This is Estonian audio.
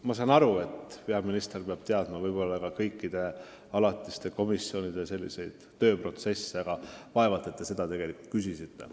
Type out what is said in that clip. Ma saan aru, et peaminister peab võib-olla kursis olema kõikide alatiste komisjonide tööprotsessidega, aga vaevalt te oma küsimusega seda silmas pidasite.